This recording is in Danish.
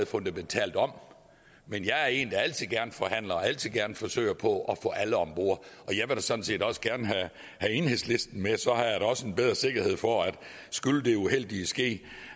fundamentalt om men jeg er en der altid gerne forhandler og altid gerne forsøger på at få alle om bord og jeg vil sådan set også gerne have enhedslisten med så har jeg da også en bedre sikkerhed for at skulle det uheldige ske